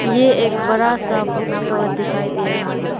ये एक बड़ा सा बुक स्टोर दिखाई दे रहा है।